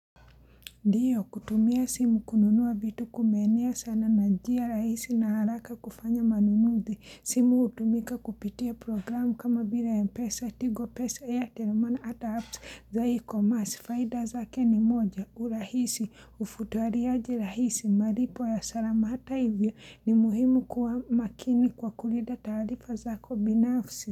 Ndiyo kutumia simu kununua vitu kumenea sana najia rahisi na haraka kufanya manunuzi. Simu hutumika kupitia programu kama bila ya mpesa, tigo pesa ya, airtel money ata apps za ecommerce Faida zake ni moja, urahisi, ufutuariaji rahisi, malipo ya salama hata hivyo ni muhimu kuamakini kwa kulinda taarifa zako binafsi.